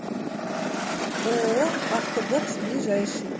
ооо автобокс ближайший